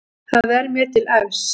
Það er mér til efs.